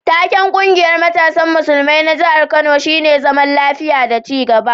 Taken ƙungiyar matasan musulmai na jihar Kano shine zaman lafiya da ci gaba.